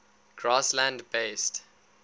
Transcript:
grassland based